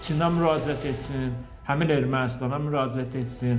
Çindən müraciət etsin, həmin Ermənistana müraciət etsin.